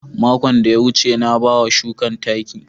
Makon da ya wuce, na ba wa shukan taki.